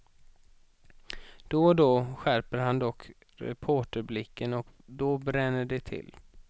Då och då skärper han dock reporterblicken och då bränner det till.